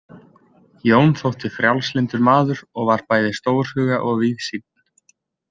Jón þótti frjálslyndur maður og var bæði stórhuga og víðsýnn.